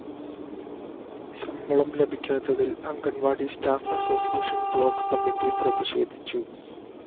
ശമ്പളം ലഭിക്കാത്തതില്‍ anganwadi staff association block committee പ്രതിഷേധിച്ചു